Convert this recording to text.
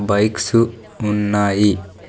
Bikes ఉన్నాయి.